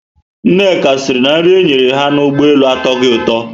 Nneka siri na nri enyere ha na Ụgbọelu atoghi ụtọ